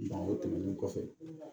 o tɛmɛnen kɔfɛ